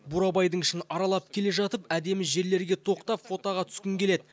бурабайдың ішін аралап келе жатып әдемі жерлерге тоқтап фотоға түскің келеді